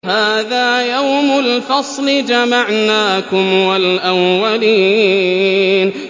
هَٰذَا يَوْمُ الْفَصْلِ ۖ جَمَعْنَاكُمْ وَالْأَوَّلِينَ